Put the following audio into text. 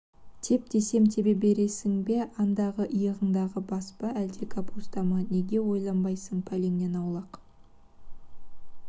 теп десем тебе бересің бе андағы иығыңдағы бас па әлде капуста ма неге ойланбайсың пәлеңнен аулақ